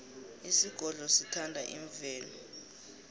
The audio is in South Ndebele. isigodlo sithanda imvelo